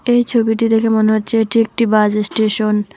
এই ছবিটি দেখে মনে হচ্ছে এটি একটি বাস স্টেশন ।